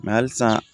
halisa